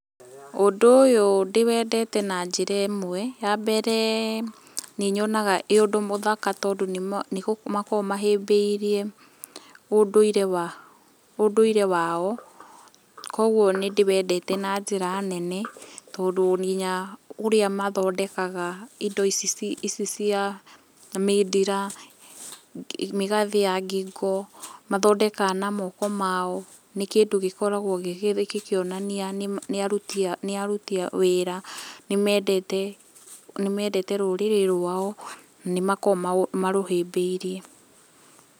Ũndũ ũyũ ndĩwendete na njĩra ĩmwe, ya mbere nĩ nyonaga ĩ ũndũ mũthaka tondũ nĩ makoragwo mahĩmbĩirie ũndũĩre wao. Koguo nĩ ndĩwendete na njĩra nene tondũ nginya ũrĩa mathondekaga ĩndo ici cia mindĩra, mĩgathĩ ya ngingo, mathondekaga na moko mao nĩ kĩndũ gĩkoragwo gĩkĩonania nĩ aruti wĩra, nĩ mendete rũrĩrĩ rwao, na nĩ makoragwo marũhĩmbĩirie.